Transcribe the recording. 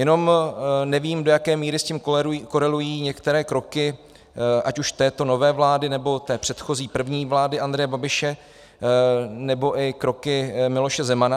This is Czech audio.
Jenom nevím, do jaké míry s tím korelují některé kroky ať už této nové vlády, nebo té předchozí první vlády Andreje Babiše, nebo i kroky Miloše Zemana.